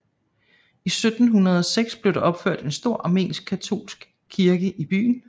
I 1706 blev der opført en stor Armensk katolsk kirke i byen